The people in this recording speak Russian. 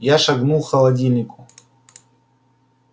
я шагнул к холодильнику